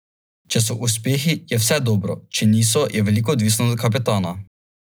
Nič čarovniškega.